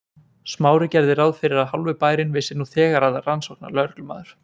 Smári gerði ráð fyrir að hálfur bærinn vissi nú þegar að rannsóknarlögreglumaður